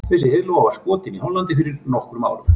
Þessi heiðlóa var skotin í Hollandi fyrir nokkrum árum.